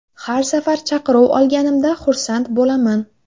Har safar chaqiruv olganimda xursand bo‘laman.